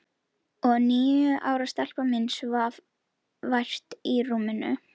Æ ég veit það ekki Ísbjörg, segir hún.